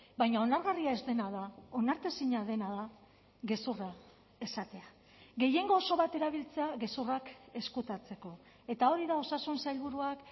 baina onargarria ez dena da onartezina dena da gezurra esatea gehiengo oso bat erabiltzea gezurrak ezkutatzeko eta hori da osasun sailburuak